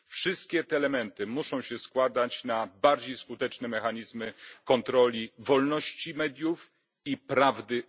Wszystkie te elementy muszą się składać na bardziej skuteczne mechanizmy kontroli wolności mediów i prawdy w mediach.